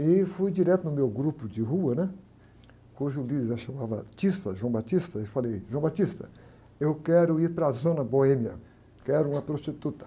E fui direto no meu grupo de rua, né? Cujo líder lá chamava,, e falei, eu quero ir para a zona boêmia, quero uma prostituta.